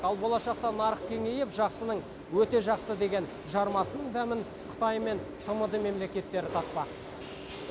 ал болашақта нарық кеңейіп жақсының өте жақсы деген жармасының дәмін қытай мен тмд мемлекеттері татпақ